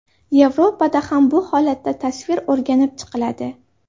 Yevropada ham bu holatda tasvir o‘rganib chiqiladi.